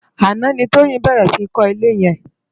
Aná ni Toyin bèrè si kò ilé yèn